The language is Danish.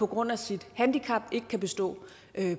grund af sit handicap ikke kan bestå